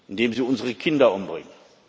die sie unsere Kinder umbringen.